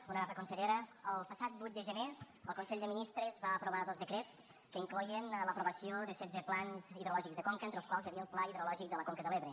honorable consellera el passat vuit de gener el consell de ministres va aprovar dos decrets que incloïen l’aprovació de setze plans hidrològics de conques entre els quals hi havia el pla hidrològic de la conca de l’ebre